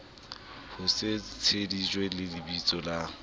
ho se tsejiswe lebiso la